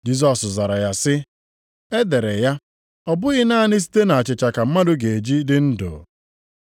Jisọs zara ya sị, “E dere ya, ‘Ọ bụghị naanị site na achịcha ka mmadụ ga-eji dị ndụ.’ + 4:4 \+xt Dit 8:3\+xt* ”